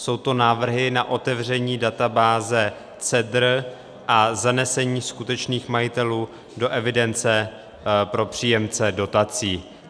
Jsou to návrhy na otevření databáze CEDR a zanesení skutečných majitelů do evidence pro příjemce dotací.